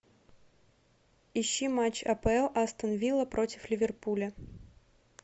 ищи матч апл астон вилла против ливерпуля